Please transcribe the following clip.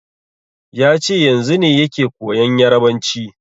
Yace yanzu ne yake koyan yarabanci